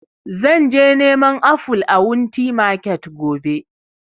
Zan je neman aful a wunti market gobe